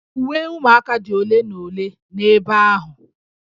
Uwe ụmụaka dị ole na ole n'ebe ahụ